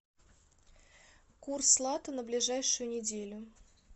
курс лата на ближайшую неделю